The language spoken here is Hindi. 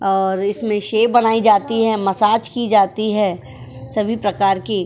और इसमें शैव बनाई जाती है मसाज